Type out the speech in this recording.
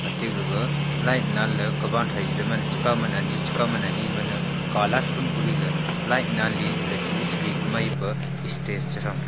te gaga light nanley kawan thai chekaw mana ani chekaw mana ani Mane colourfull koriley light nanleley chebi-chebi maipa stage chethang.